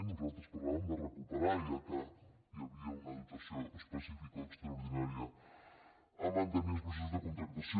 nosaltres parlàvem de recuperar ja que hi havia una dotació específica o extraordinària per mantenir els processos de contractació